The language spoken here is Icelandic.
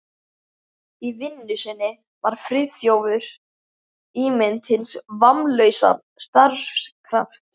Í vinnu sinni var Friðþjófur ímynd hins vammlausa starfskrafts.